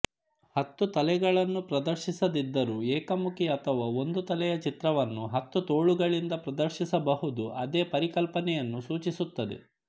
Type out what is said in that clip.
ಹತ್ತು ತಲೆಗಳನ್ನು ಪ್ರದರ್ಶಿಸದಿದ್ದರೂ ಏಕಮುಖಿ ಅಥವಾ ಒಂದು ತಲೆಯ ಚಿತ್ರವನ್ನು ಹತ್ತು ತೋಳುಗಳಿಂದ ಪ್ರದರ್ಶಿಸಬಹುದು ಅದೇ ಪರಿಕಲ್ಪನೆಯನ್ನು ಸೂಚಿಸುತ್ತದೆ